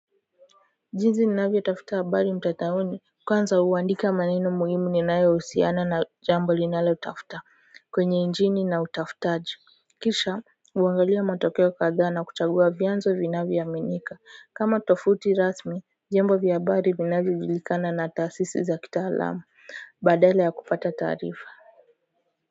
Jinsi ninavyotafuta habari mtandaoni kwanza huandika maneno muhimu ninayohusiana na jambo linalotafuta kwenye injini na utafutaji kisha huangalia matokeo kadhaa na kuchagua vyanzo vinavyo aminika kama tofauti rasmi vyombo vya habari vinavyojulikana na taasisi za kitaalamu badala ya kupata taarifa.